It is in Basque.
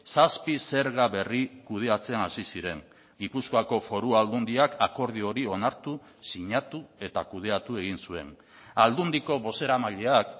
zazpi zerga berri kudeatzen hasi ziren gipuzkoako foru aldundiak akordio hori onartu sinatu eta kudeatu egin zuen aldundiko bozeramaileak